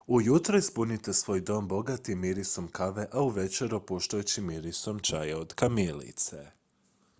ujutro ispunite svoj dom bogatim mirisom kave a uvečer opuštajućim mirisom čaja od kamilice